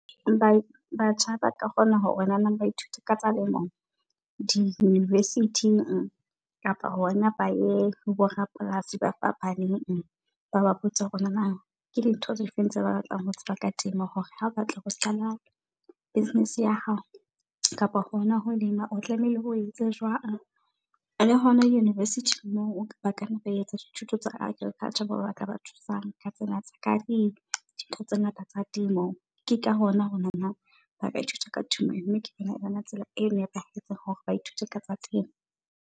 Batjha ba ka kgona hore ba ithute ka tsa lemo di-university-ing kapa hona ba ye ho bo rapolasi ba fapaneng. Ba ba botse hore ke dintho di feng tse ba batlang ho tseba ka temo hore ha o batla ho qala business ya hao kapa hona ho lema, o tlamehile o etse jwang. Le hona le university-ing moo ba kanna ba etsa dithuto tsa Agriculture moo ba ka ba thusang ka tsena tsa ka, dintho tse ngata tsa temo. Ke ka hona hona na, ba ka ithuta ka , mme ke tsela e nepahetseng hore ba ithute ka tsa temo.